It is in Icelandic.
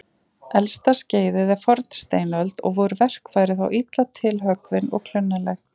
Elsta skeiðið er fornsteinöld og voru verkfæri þá illa tilhöggvin og klunnaleg.